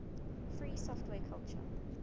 free software culture